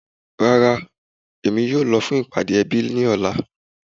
Rárá, èmi kìí yóò lọ̀ fún ìpàdé èbí ní òlà.